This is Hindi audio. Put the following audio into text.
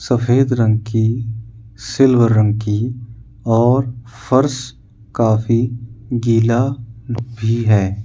सफेद रंग की सिल्वर रंग की और फर्श काफी गीला भी हैं।